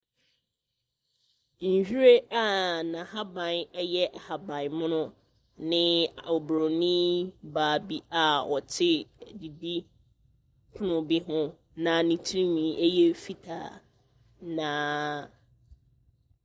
Nhyiren a nahaban yɛ ahabanmono ne obronibaa bi a ɔte didipono bi ho na ne trinwi ɛyɛ fitaa na.